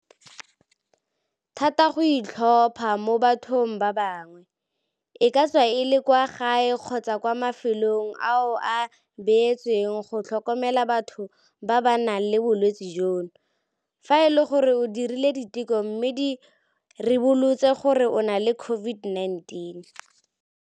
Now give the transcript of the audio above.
thata go itlhopha mo bathong ba bangwe, e ka tswa e le kwa gae kgotsa kwa mafelong ao a beetsweng go tlhokomela batho ba ba nang le bolwetse jono, fa e le gore o dirile diteko mme di ribolotse gore o na le COVID-19.